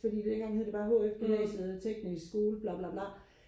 fordi dengang hed det bare HF gymnasiet eller teknisk skole bla bla bla